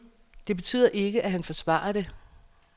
Det betyder ikke at han forsvarer det.